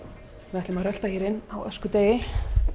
við ætlum að rölta hér inn á öskudegi